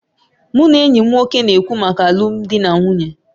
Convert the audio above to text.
Mụ na enyi m nwoke na-ekwu maka alụmdi na nwunye